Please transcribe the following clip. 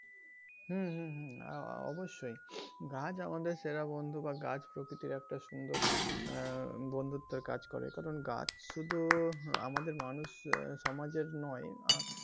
হুম হুম অবশ্যই গাছ আমাদের সেরা বন্ধু বা গাছ প্রকৃতির একটা সুন্দর আহ বন্ধুত্বের কাজ করে কারন গাছ শুধু আমাদের মানুষ সমাজের নয়,